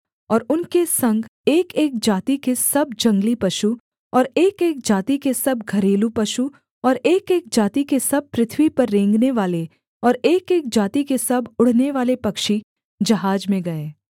और उनके संग एकएक जाति के सब जंगली पशु और एकएक जाति के सब घरेलू पशु और एकएक जाति के सब पृथ्वी पर रेंगनेवाले और एकएक जाति के सब उड़नेवाले पक्षी जहाज में गए